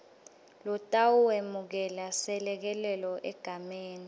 lotawemukela selekelelo egameni